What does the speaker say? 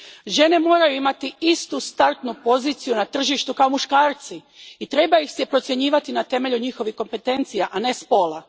Žene moraju imati istu startnu poziciju na tržištu kao muškarci i treba ih se procjenjivati na temelju njihovih kompetencija, a ne spola.